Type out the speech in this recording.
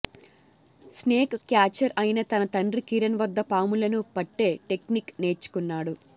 snake catcher అయిన తన తండ్రి కిరణ్ వద్ద పాములను పట్టే టెక్నిక్ నేర్చుకున్నాడు